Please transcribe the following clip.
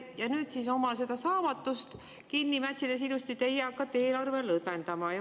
Ja et oma saamatust kinni mätsida, hakkate te ilusti eelarvet lõdvendama.